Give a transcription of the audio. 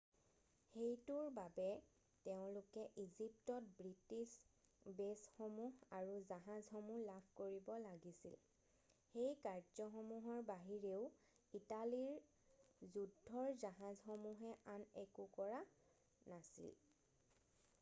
সেইটোৰ বাবে তেওঁলোকে ইজিপ্তত ব্ৰিটিছ বেছসমূহ আৰু জাহাজসমূহ লাভ কৰিব লাগিছিল সেই কাৰ্য্যসমূহৰ বাহিৰেও ইটালীৰ যুদ্ধৰ জাহাজসমূহে আন একো কৰা নাছিল